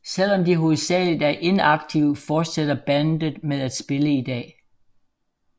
Selvom de hovedsageligt er inaktive fortsætter bandet med at spille i dag